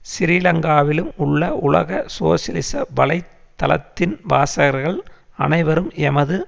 சிறீலங்காவிலும் உள்ள உலக சோசியலிச வலை தளத்தின் வாசகர்கள் அனைவரும் எமது